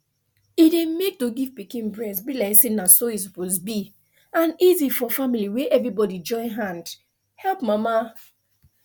e dey make to give pikin breast be like say na so e suppose be an easy for family where everybody join hand help mama